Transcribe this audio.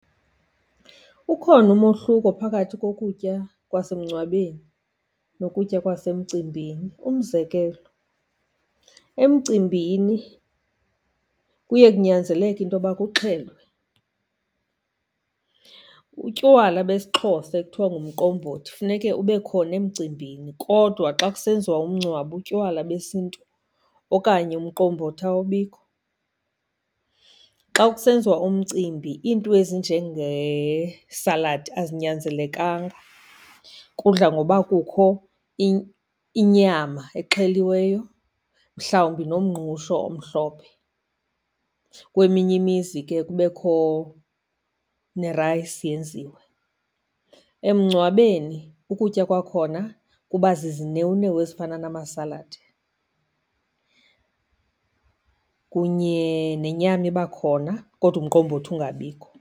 Ukhona umohluko phakathi kokutya kwasemngcwabeni nokutya kwasemcimbini. Umzekelo, emcimbini kuye kunyanzeleke into yoba kuxhelwe. Utywala besiXhosa ekuthiwa ngumqombothi funeke ube khona emcimbini, kodwa xa kusenziwa umngcwabo, utywala besiNtu okanye umqombothi awubikho. Xa kusenziwa umcimbi iinto ezinjengeesaladi azinyanzelekanga. Kudla ngoba kukho inyama exheliweyo, mhlawumbi nomngqusho omhlophe, kweminye imizi ke kubekho nerayisi yenziwe. Emngcwabeni ukutya kwakhona kuba zizinewunewu ezifana namasaladi kunye nenyama iba khona, kodwa umqombothi ungabikho.